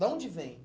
De onde vem?